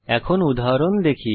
এখন উদাহরণ দেখি